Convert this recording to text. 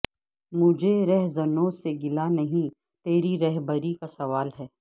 مجھے رہزنوں سے گلا نہیں تیری رہبری کا سوال ہے